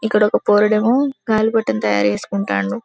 ఇక్కడ ఒక పోరడు ఎమో గాలి పటం తయారు చేసుకుంటండు.